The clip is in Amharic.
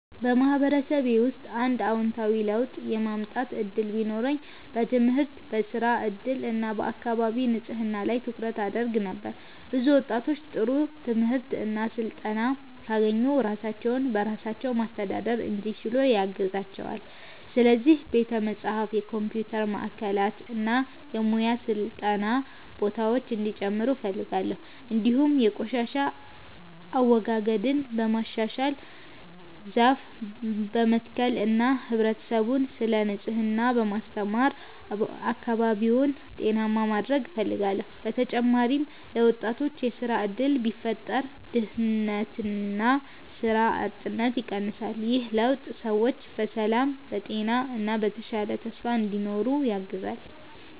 በማህበረሰቤ ውስጥ አንድ አዎንታዊ ለውጥ የማምጣት እድል ቢኖረኝ በትምህርት፣ በሥራ እድል እና በአካባቢ ንጽህና ላይ ትኩረት አደርግ ነበር። ብዙ ወጣቶች ጥሩ ትምህርት እና ስልጠና ካገኙ ራሳቸውን በራሳቸው ማስተዳደር እንዲችሉ ያግዛቸዋል። ስለዚህ ቤተ መጻሕፍት፣ የኮምፒውተር ማዕከላት እና የሙያ ስልጠና ቦታዎች እንዲጨምሩ እፈልጋለሁ። እንዲሁም የቆሻሻ አወጋገድን በማሻሻል፣ ዛፍ በመትከል እና ህብረተሰቡን ስለ ንጽህና በማስተማር አካባቢውን ጤናማ ማድረግ እፈልጋለሁ። በተጨማሪም ለወጣቶች የሥራ እድል ቢፈጠር ድህነትና ሥራ አጥነት ይቀንሳል። ይህ ለውጥ ሰዎች በሰላም፣ በጤና እና በተሻለ ተስፋ እንዲኖሩ ያግዛል።